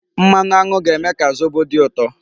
Mmanụ aṅụ ga-eme ka zobo dị ụtọ.